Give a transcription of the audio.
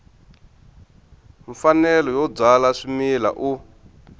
mfanelo yo byala swimila u